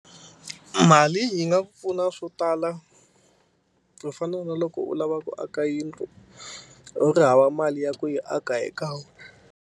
Mali yi nga pfuna swo tala ku fana na loko u lava ku aka yindlu u ri hava mali ya ku yi aka hi kan'we.